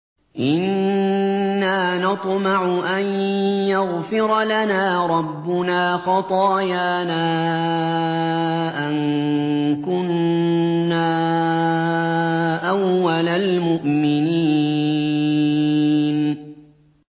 إِنَّا نَطْمَعُ أَن يَغْفِرَ لَنَا رَبُّنَا خَطَايَانَا أَن كُنَّا أَوَّلَ الْمُؤْمِنِينَ